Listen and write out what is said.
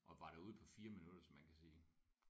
Og var derude på 4 minutter så man kan sige